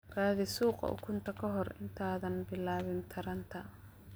Raadi suuqa ukunta ka hor inta aanad bilaabin taranta.